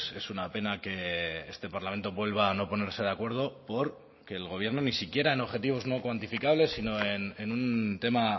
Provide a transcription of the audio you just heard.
es una pena que este parlamento vuelva a no ponerse de acuerdo por que el gobierno ni siquiera en objetivos no cuantificables sino en un tema